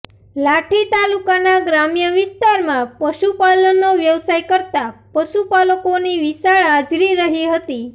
લાઠી તાલુકાના ગ્રામ્ય વિસ્તારમાં પશુપાલનનો વ્યવસાય કરતા પશુપાલકોની વિશાળ હાજરી રહી હતી